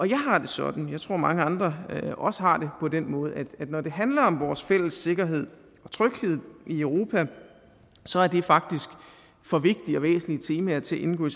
jeg har det sådan og jeg tror mange andre også har det på den måde at når det handler om vores fælles sikkerhed og tryghed i europa så er det faktisk for vigtige og væsentlige temaer til at indgå i